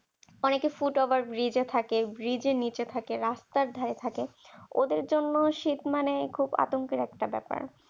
অনেকে ফুটওভার ব্রিজে থাকে ব্রিজের নিচে থাকে রাস্তার ধারে থাকে ওদের জন্য শীত মানে খুব আতঙ্কের একটা ব্যাপার